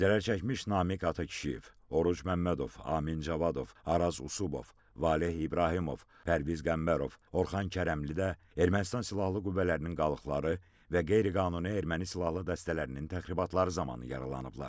Zərərçəkmiş Namiq Atakişiyev, Oruc Məmmədov, Amin Cavadov, Araz Usubov, Valeh İbrahimov, Pərviz Qəmbərov, Orxan Kərəmli də Ermənistan silahlı qüvvələrinin qalıqları və qeyri-qanuni erməni silahlı dəstələrinin təxribatları zamanı yaralanıblar.